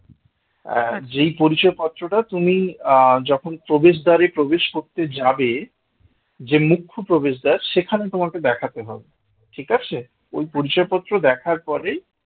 আহ যেই পরিচয় পত্রটা তুমি আহ যখন প্রবেশদ্বারে প্রবেশ করতে যাবে যে মুখ্য প্রবেশদ্বার সেখানে তোমাকে দেখাতে হবে ঠিক আছে ওই পরিচয় পত্র দেখার পড়েই